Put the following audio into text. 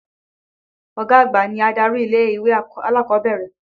Ọ̀gá àgbà ni adarí ilé-ìwé alákọ̀ọ́bẹ̀rẹ̀.